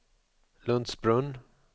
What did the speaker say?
Lundsbrunn